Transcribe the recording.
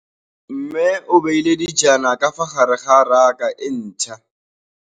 Mmê o beile dijana ka fa gare ga raka e ntšha.